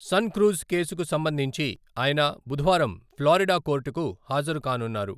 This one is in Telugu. సన్క్రూజ్ కేసుకు సంబంధించి ఆయన బుధవారం ఫ్లోరిడా కోర్టుకు హాజరుకానున్నారు.